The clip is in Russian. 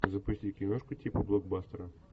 запусти киношку типа блокбастера